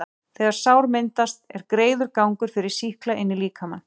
þegar sár myndast, er greiður gangur fyrir sýkla inn í líkamann.